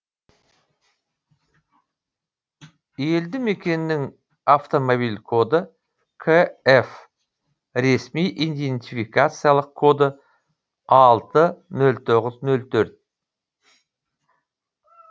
елді мекеннің автомобиль коды кф ресми идентификациялық коды алты нөл тоғыз нөл төрт